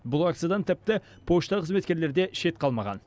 бұл акциядан тіпті пошта қызметкерлері де шет қалмаған